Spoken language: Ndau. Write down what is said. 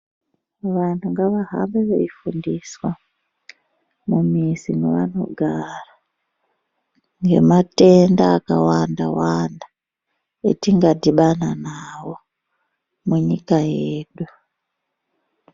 Vantu ngavahambe veifundiswa mumizi mavanogara ngematenda akawanda wanda etingadhibana nawo munyika yedu.